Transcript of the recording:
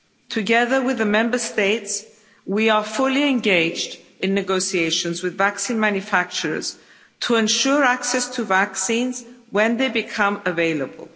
Together with the Member States, we are fully engaged in negotiations with vaccine manufacturers to ensure access to vaccines when they become available.